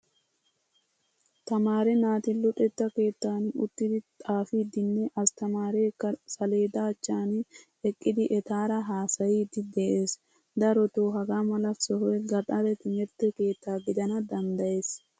Tamaare naati luxetta keettan uttidi xaafidinne astaamrekka saleddachchan eqqidi ettaara haasayidi de'ees. Daroto hagamala sohoy gaxare timirtte keetta gidana danddayees.